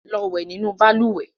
Lọ wẹ̀ nínú balùwẹ̀!